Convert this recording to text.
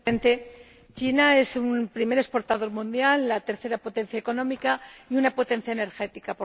Señor Presidente, China es un primer exportador mundial, la tercera potencia económica y una potencia energética.